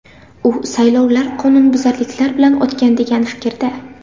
U saylovlar qonunbuzarliklar bilan o‘tgan degan fikrda.